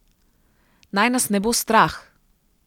Naj nas ne bo strah!